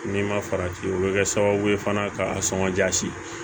N'i ma farati o bɛ kɛ sababu ye fana ka a sɔngɔ jasi